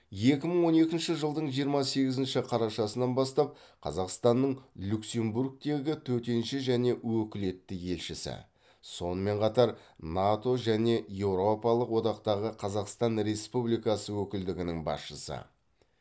екі мың он екінші жылдың жиырма сегізінші қарашасынан бастап қазақстанның люксембургтегі төтенше және өкілетті елшісі сонымен қатар нато және еуропалық одақтағы қазақстан республикасы өкілдігінің басшысы